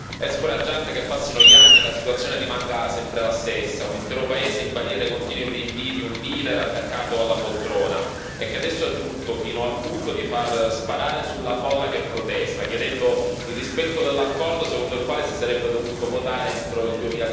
È scoraggiante che passino gli anni e la situazione rimanga sempre la stessa un intero paese in balia dei continui rinvii di un leader attaccato alla poltrona e che adesso è giunto fino al punto di far sparare sulla folla che protesta, chiedendo il rispetto dell'accordo secondo il quale si sarebbe dovuto votare entro il